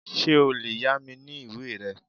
Ṣé o lè yá mi ní ìwé rẹ?